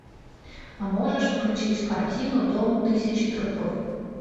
а можешь включить картину дом тысячи трупов